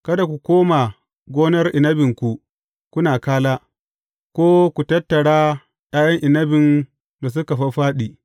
Kada ku koma gonar inabinku kuna kala, ko ku tattara ’ya’yan inabin da suka fāffāɗi.